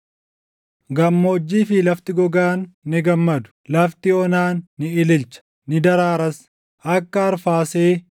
Gammoojjii fi lafti gogaan ni gammadu; lafti onaan ni ililcha; ni daraaras. Akka arfaasee,